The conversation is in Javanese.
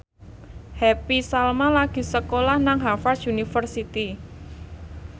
Happy Salma lagi sekolah nang Harvard university